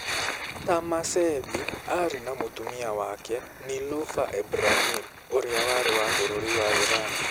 Tahmasebi aarĩ na mũtumia wake, Niloufar Ebrahim, ũrĩa warĩ wa bũrũri wa Iran.